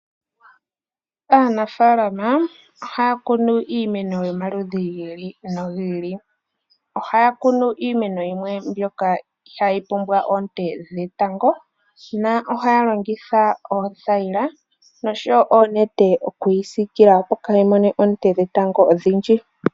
Aanafaalama ohaya kunu iimeno yomaludhi gili nogiili ohaya kunu iimeno yimwe mbyoka ihayi pumbwa oonte dhetango na ohaya longitha oothayila osho wo oonete okuyi sikila opo yaamone oonte dhetango odhindji.